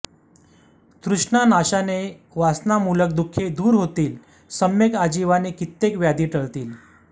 तृष्णा नाशानें वासनामूलक दुखें दूर होतील सम्यक् आजीवानें कित्येक व्याधि टळतील